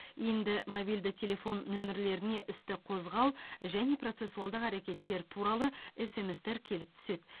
енді мобильді телефон нөмірлеріне істі қозғау және процессуалдық әрекеттер туралы смс тер келіп түседі